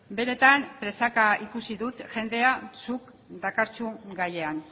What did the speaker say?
benetan presaka ikusi dut jendea zuk dakarzun gaian